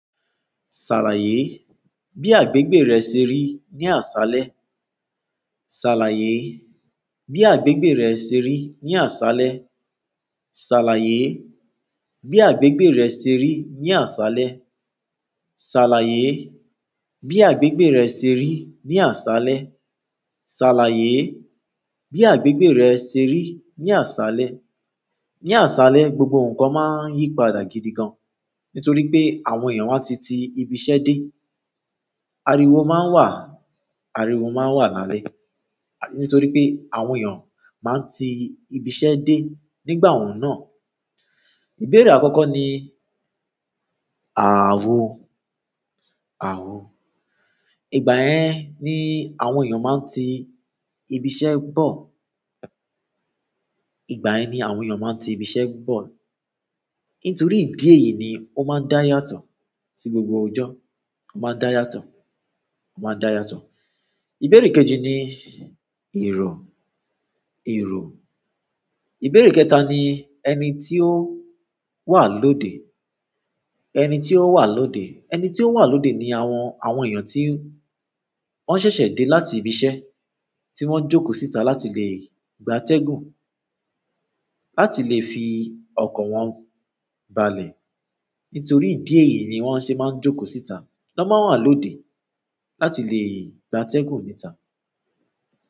Ṣàlàyé bí àgbègbè rẹ ṣe rí ní àṣálẹ́. Ṣàlàyé bí àgbègbè rẹ ṣe rí ní àṣálẹ́. Ṣàlàyé bí àgbègbè rẹ ṣe rí ní àṣálẹ́. Ṣàlàyé bí àgbègbè rẹ ṣe rí ní àṣálẹ́. Ṣàlàyé bí àgbègbè rẹ ṣe rí ní àṣálẹ́. Ní àṣálẹ́, gbogbo nǹkan máa ń yí padà gidi gan nítorí pé àwọn èèyàn won a ti ti ibi iṣẹ́ dé. Ariwo máa ń wà, ariwo máa ń wà lálẹ́ nítorí pé àwọn èèyàn máa ń ti ibi iṣẹ́ dé nígbà ọ̀hun náà. Ìbéèrè àkọ́kọ́ ni àwo, àwo. Ìgbà ẹ ní àwọn èèyàn máa ń ti ibi iṣẹ́ bọ̀. Ìgbà ẹ ní àwọn èèyàn máa ń ti ibi iṣẹ́ bọ̀. Nítorí ìdí èyí ni ó máa ń dá yàtọ̀ sí gbogbo ọjọ́. Ó máa ń dá yàtọ̀, ó máa ń dá yàtọ̀. Ìbéèrè kejì ni ìrò, ìrò. Ìbéèrè kẹta ni ẹni tí ó wà lóde. Ẹni tí ó wà lóde. Ẹni tí ó wà lóde ni àwọn, àwọn èèyàn tí wọ́n ṣẹ̀ṣẹ̀ dé láti ibi iṣẹ́ tí wọ́n jókòó síta láti lè gba atẹ́gùn, láti lè fi ọkọ̀ wọn balẹ̀. Nítorí ìdí èyí ni wọ́n ṣé máa ń jókòó síta. Wọ́n máa wà lóde láti lè gba atẹ́gùn níta.